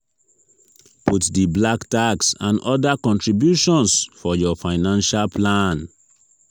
put di "black tax" and other contributions for your financial plan